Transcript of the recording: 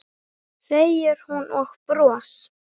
segir hún og bros